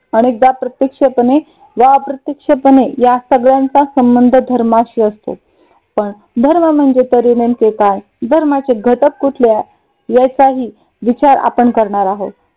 अनेकदा प्रत्यक्षपणे वा अप्रत्यक्षपणे या सगळ्यांचा संबंध धर्माशी असतो. पण धर्म म्हणजे तरी नेमके काय? धर्माचे घटक कुठले? आहे याचाही विचार आपण करणार आहोत.